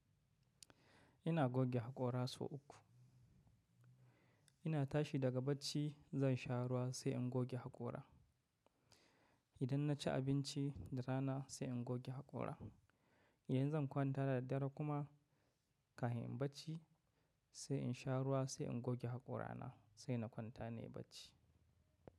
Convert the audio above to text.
Ina goge haƙora sau uku. Ina tashi daga bacci zan sha ruwa sai in goge haƙora. Idan na ci abinci da rana sai in goge haƙora. Idan zan kwanta da daddare kuma kafin in bacci sai in sha ruwa sai in goge haƙorana sai na kwanta nayi bacci.